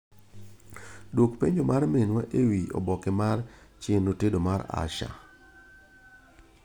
Duok penjo mar minwa ewi oboke mar chenro tedo mar Asha.